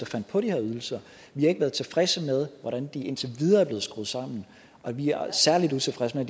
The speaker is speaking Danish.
fandt på de her ydelser vi har ikke været tilfredse med hvordan de indtil videre er blevet skruet sammen og vi er særlig utilfredse med